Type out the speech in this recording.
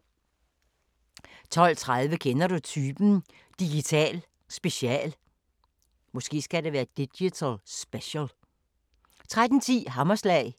12:30: Kender du typen? – Digital special 13:10: Hammerslag